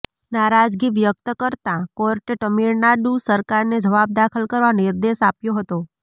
નારાજગી વ્યક્ત કરતાં કોર્ટે તમિળનાડુ સરકારને જવાબ દાખલ કરવા નિર્દેશ આપ્યો હતો